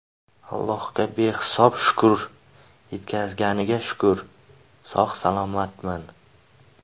Allohga behisob shukr, yetkazganiga shukr, sog‘-salomatman.